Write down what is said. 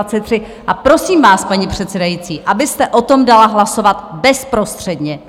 A prosím vás, paní předsedající, abyste o tom dala hlasovat bezprostředně!